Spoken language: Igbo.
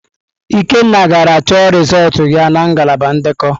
Ikenna gara chọ rịzọlt ya na ngalaba ndekọ.